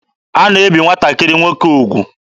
A na-ebi nwatakịrị nwoke ugwu.